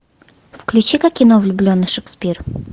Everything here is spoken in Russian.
включи ка кино влюбленный шекспир